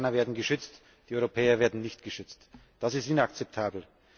Die Amerikaner werden geschützt, die Europäer werden nicht geschützt das ist inakzeptabel.